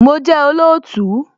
Mo jẹ́ olóòtú